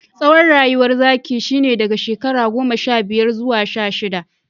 Tsawon rayuwar zaki shine daga shekara goma sha biyar zuwa sha shidda.